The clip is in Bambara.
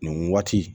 Nin waati